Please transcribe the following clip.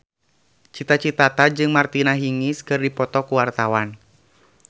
Cita Citata jeung Martina Hingis keur dipoto ku wartawan